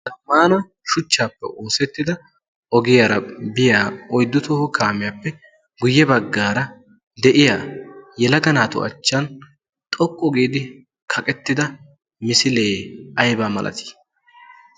Zammana shuchchappe oosetida ogiyaara biya oyddu toho kaamiyaappe guuyye baggaara de'iyaa yelaga naatu achchan xoqqu giidi kaqettida misilee aybba malati?